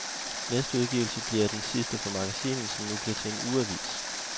Næste udgivelse bliver den sidste for magasinet, som nu bliver til en ugeavis.